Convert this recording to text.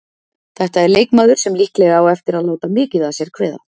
Þetta er leikmaður sem líklega á eftir að láta mikið að sér kveða.